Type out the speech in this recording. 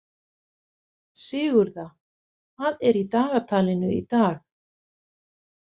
Sigurða, hvað er í dagatalinu í dag?